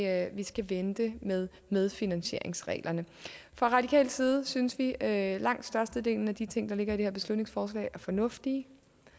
at vi skal vente med medfinansieringsreglerne fra radikal side synes vi at langt størstedelen af de ting der ligger i det her beslutningsforslag er fornuftige